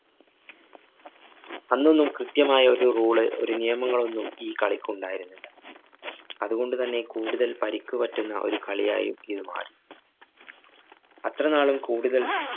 അന്നൊന്നും കൃത്യമായ ഒരു rule ള് ഒരു നിയമങ്ങളൊന്നും ഈ കളിക്കുണ്ടായിരുന്നില്ല. അതുകൊണ്ടുതന്നെ കൂടുതല്‍ പരിക്ക് പറ്റുന്ന ഒരു കളിയായി ഇത് മാറി. അത്രനാളും കൂടുതല്‍